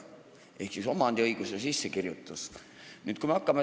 See oli siis omandiõiguse sissekirjutus.